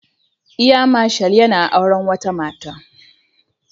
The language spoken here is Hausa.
Air Marshal yana auren wata Mata